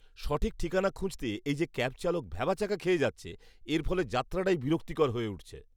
সঠিক ঠিকানা খুঁজতে এই যে ক্যাব চালক ভ্যাবাচ্যাকা খেয়ে যাচ্ছে, এর ফলে যাত্রাটাই বিরক্তিকর হয়ে উঠছে।